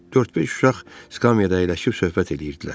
Dörd-beş uşaq skamyada əyləşib söhbət eləyirdilər.